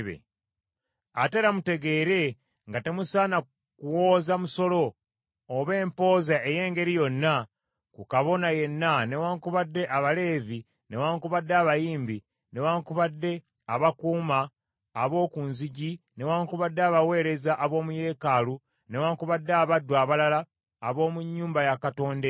Ate era mutegeere nga temusaana kuwooza musolo, oba empooza ey’engeri yonna ku kabona yenna newaakubadde Abaleevi newaakubadde abayimbi newaakubadde abakuumi ab’oku nzigi newaakubadde abaweereza ab’omu yeekaalu newaakubadde abaddu abalala ab’omu nnyumba ya Katonda eyo.